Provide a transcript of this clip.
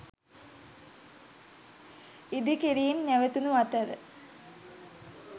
ඉදිකිරීම් නැවතුනු අතර